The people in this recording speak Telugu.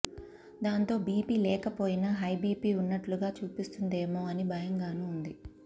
దాంతో బీపీ లేకపోయినా హైబీపీ ఉన్నట్లుగా చూపిస్తుందేమో అని భయంగానూ ఉంది